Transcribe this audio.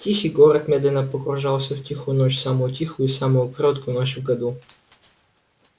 тихий город медленно погружался в тихую ночь самую тихую и самую короткую ночь в году